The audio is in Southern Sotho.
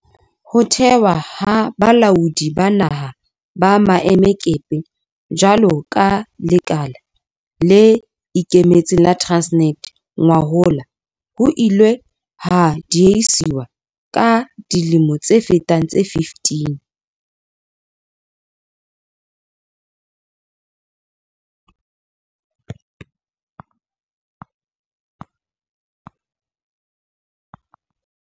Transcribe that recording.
Ho thehwa ha Balaodi ba Naha ba Maemakepe jwalo ka lekala le ikemetseng la Transnet ngwahola ho ile ha diehiswa ka dilemo tse fetang tse 15.